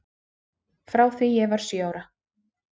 Frá því ég var sjö ára.